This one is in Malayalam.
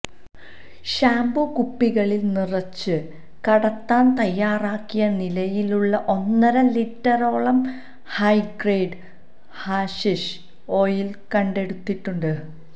ഷാംപൂ കുപ്പികളില് നിറച്ച് കടത്താന് തയ്യാറാക്കിയ നിലയിലുള്ള ഒന്നര ലിറ്ററോളം ഹൈഗ്രേഡ് ഹാഷിഷ് ഓയില് കണ്ടെടുത്തിട്ടുണ്ട്